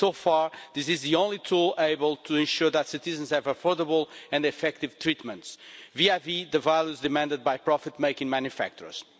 So far, this is the only tool able to ensure that citizens have affordable and effective treatments vis vis the values demanded by profit making manufacturers.